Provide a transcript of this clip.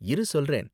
இரு சொல்றேன்.